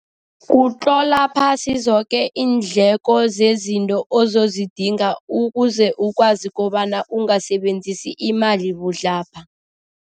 Kutlola phasi zoke iindleko zezinto ozozidinga ukuze ukwazi kobana ungasebenzisi imali budlabha.